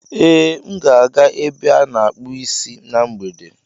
Ee, m ga-aga ebe a akpụ isi na mgbede.